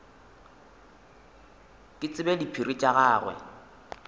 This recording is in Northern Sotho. ke tsebe diphiri tša gagwe